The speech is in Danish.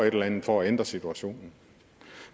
et eller andet for at ændre situationen